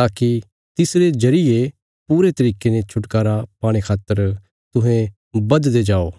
ताकि तिसरे जरिये पूरे तरिके ने छुटकारा पाणे खातर तुहें बधदे जाओ